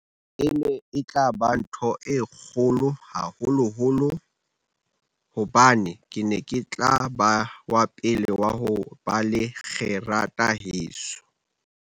E ne e tla ba ntho e kgolo, haholoholo hobane ke ne ke tla ba wa pele wa ho ba le kgerata heso.